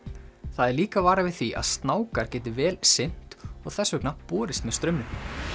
það er líka varað við því að geti vel synt og þess vegna borist með straumnum